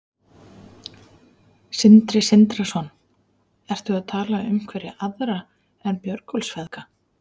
Sindri Sindrason: Ertu að tala um einhverja aðra en Björgólfsfeðga?